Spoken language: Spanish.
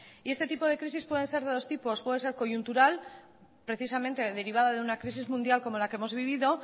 y este tipo de crisis puede ser de dos tipos puede ser coyuntural precisamente derivada de una crisis mundial como la que hemos vivido